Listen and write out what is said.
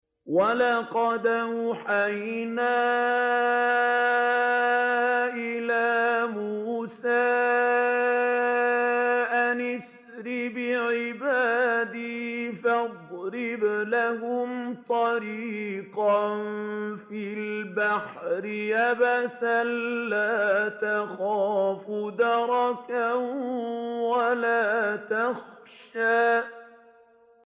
وَلَقَدْ أَوْحَيْنَا إِلَىٰ مُوسَىٰ أَنْ أَسْرِ بِعِبَادِي فَاضْرِبْ لَهُمْ طَرِيقًا فِي الْبَحْرِ يَبَسًا لَّا تَخَافُ دَرَكًا وَلَا تَخْشَىٰ